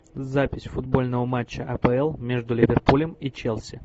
запись футбольного матча апл между ливерпулем и челси